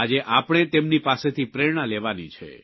આજે આપણે તેમની પાસેથી પ્રેરણા લેવાની છે